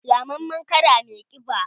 Ramammen kada mai kiba